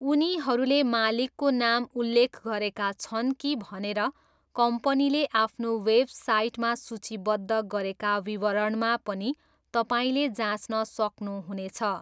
उनीहरूले मालिकको नाम उल्लेख गरेका छन् कि भनेर कम्पनीले आफ्नो वेबसाइटमा सूचीबद्ध गरेका विवरणमा पनि तपाईँले जाँच्न सक्नु हुनेछ।